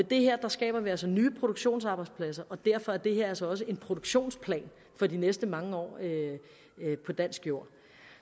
det her skaber vi altså nye produktionsarbejdspladser og derfor er det her altså også en produktionsplan for de næste mange år på dansk jord